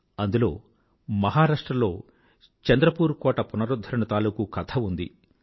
అందులో మహారాష్ట్రలో చంద్రపూర్ కోట పునరుధ్ధరణ తాలూకూ కథ ఉంది